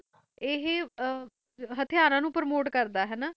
ਹੀ ਹਤਵਾਰਾ ਨੂੰ ਪਰਮੋਟ ਕਰਦਾ ਹੈ